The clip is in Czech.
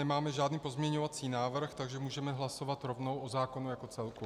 Nemáme žádný pozměňovací návrh, takže můžeme hlasovat rovnou o zákonu jako celku.